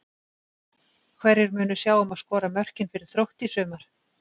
Hverjir munu sjá um að skora mörkin fyrir Þrótt í sumar?